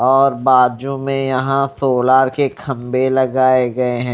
और बाजू में यहां सोलार के खंबे लगाए गए हैं।